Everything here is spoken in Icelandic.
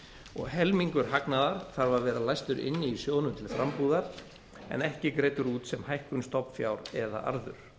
og helmingur hagnaðar þarf að vera læstur inn í sjóðnum til frambúðar en ekki greiddur út sem hækkun stofnfjár eða arður